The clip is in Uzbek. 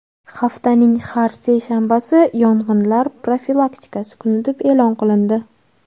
Haftaning har seshanbasi yong‘inlar profilaktikasi kuni deb e’lon qilindi.